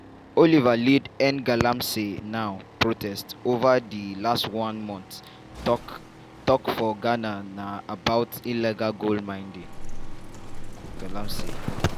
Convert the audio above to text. oliver lead #endgalamseynow protest ova di last one month tok tok for ghana na about illegal gold mining (galamsey).